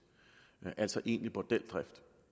altså egentlig bordeldrift